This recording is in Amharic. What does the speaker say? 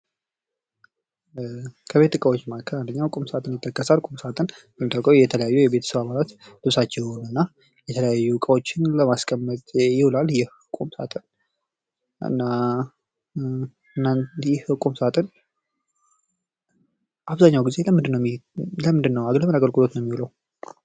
ከቤት እቃዎች መካከል ቁም ሳጥን ይጠቀሳል። ቁም ሳጥን ልብሳችሁን እና የተለያዩ እቃዎችን ለማስቀመጥ ይዉላል። ይህ ቁም ሳጥን አባዛኛውን ጊዜ ለምንድን ነው? ለምን አገልግሎት ነው የሚውለው?